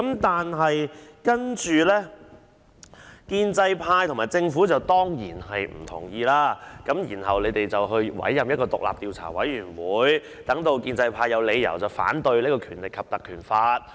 接着，建制派和政府當然不同意由立法會調查，然後政府委任獨立調查委員會調查，讓建制派有理由反對引用《條例》調查。